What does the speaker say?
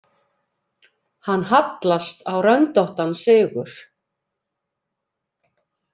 Hann hallast á röndóttan sigur.